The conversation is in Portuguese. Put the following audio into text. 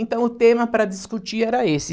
Então, o tema para discutir era esse.